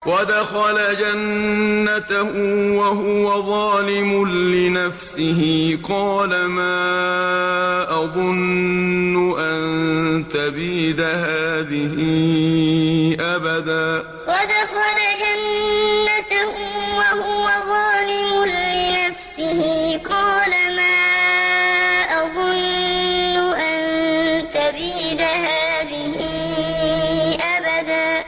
وَدَخَلَ جَنَّتَهُ وَهُوَ ظَالِمٌ لِّنَفْسِهِ قَالَ مَا أَظُنُّ أَن تَبِيدَ هَٰذِهِ أَبَدًا وَدَخَلَ جَنَّتَهُ وَهُوَ ظَالِمٌ لِّنَفْسِهِ قَالَ مَا أَظُنُّ أَن تَبِيدَ هَٰذِهِ أَبَدًا